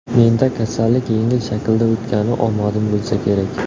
Menda kasallik yengil shaklda o‘tgani omadim bo‘lsa kerak.